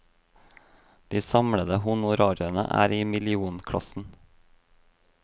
De samlede honorarene er i millionklassen.